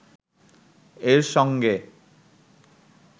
এর সঙ্গে